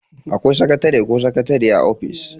Akwai sakatare ko sakatariya a office.